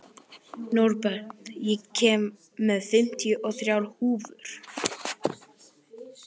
Norbert, ég kom með fimmtíu og þrjár húfur!